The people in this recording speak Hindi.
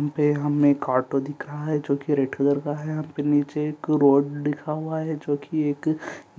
यहाँ पे हमे एक ऑटो दिख रहा हैं जो कि रेड कलर का हैं यहाँ पे नीचे एक रोड लिखा हुआ हैं जो कि एक